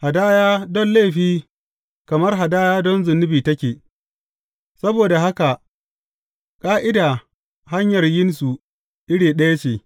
Hadaya don laifi kamar hadaya don zunubi take, saboda haka ƙa’ida hanyar yinsu iri ɗaya ce.